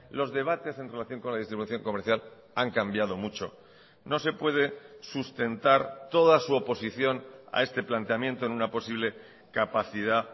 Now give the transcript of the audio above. los debates en relación con la distribución comercial han cambiado mucho no se puede sustentar toda su oposición a este planteamiento en una posible capacidad